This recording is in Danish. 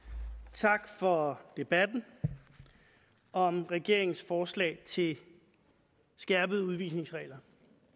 tak for debatten om regeringens forslag til skærpede udvisningsregler